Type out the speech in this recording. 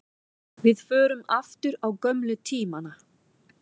Við förum aftur á gömlu tímana.